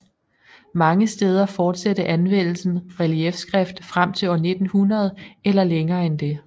Mange steder forsatte anvendelsen reliefskrift frem til år 1900 eller længere end det